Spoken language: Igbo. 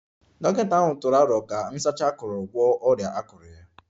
Dọkịta ahụ tụrụ aro ka nsacha akuru gwọọ ọrịa akụrụ ya